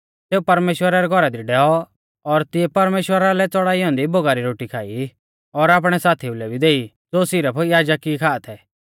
सेऊ परमेश्‍वरा रै घौरा दी डैऔ और तिऐ परमेश्‍वरा लै चड़ाई औन्दी भोगा री रोटी खाई और आपणै साथीऊ लै भी देई ज़ो सिरफ याजक ई खा थै